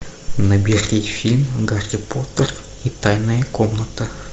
набери фильм гарри поттер и тайная комната